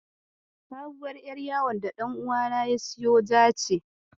Sabuwar ƴar yawon da ɗan uwana ya siyo ja ce.